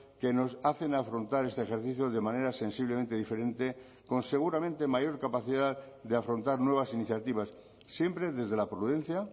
que nos hacen afrontar este ejercicio de manera sensiblemente diferente con seguramente mayor capacidad de afrontar nuevas iniciativas siempre desde la prudencia